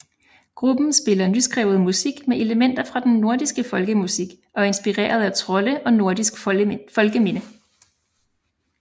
Gruppen spiller nyskrevet musik med elementer fra den nordiske folkemusik og inspireret af trolde og nordisk folkeminde